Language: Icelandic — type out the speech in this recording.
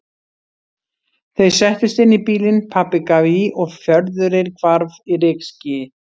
Þau settust inn í bílinn, pabbi gaf í og fjörðurinn hvarf í rykskýi.